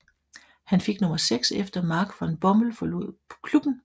Han fik nummer 6 efter Mark van Bommel forlod klubben